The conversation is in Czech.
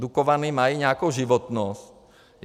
Dukovany mají nějakou životnost.